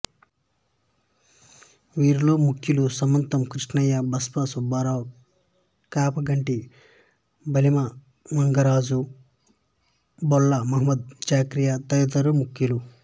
వీరిలో ముఖ్యులు సమతం కృష్ణయ్య బస్సా సుబ్బారావు కాపగంటి బులిమంగరాజు బళ్లా మహమద్ జిక్రియా తదితరులు ముఖ్యులు